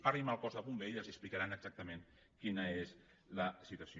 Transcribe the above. parlin amb el cos de bombers i els explica·ran exactament quina és la situació